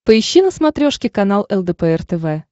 поищи на смотрешке канал лдпр тв